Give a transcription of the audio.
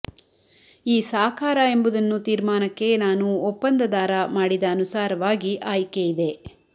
ಈ ಸಾಕಾರ ಎಂಬುದನ್ನು ತೀರ್ಮಾನಕ್ಕೆ ನಾನು ಒಪ್ಪಂದದಾರ ಮಾಡಿದ ಅನುಸಾರವಾಗಿ ಆಯ್ಕೆ ಇದೆ